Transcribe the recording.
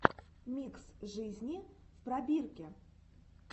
микс жизни в пробирке